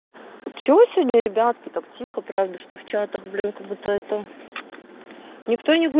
че сегодня ребятки так тихо правда что вчера ты блин как будто эту никто не